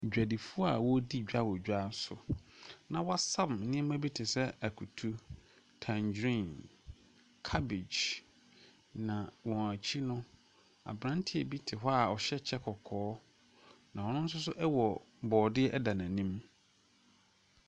Adwadifo a wɔredi dwa wɔ dwa so, na wɔasam neɛma bi te sɛ akutu, tangerine, cabbage, na wɔn akyi no, aberante bi te hɔ a ɔhyɛ kyɛ kɔkɔɔ, na ɔno nso wɔ borɔdeɛ wɔ n’anim.